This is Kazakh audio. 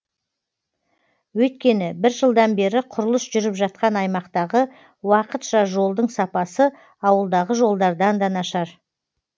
өйткені бір жылдан бері құрылыс жүріп жатқан аймақтағы уақытша жолдың сапасы ауылдағы жолдардан да нашар